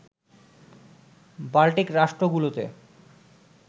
Baltic রাষ্ট্রগুলোতে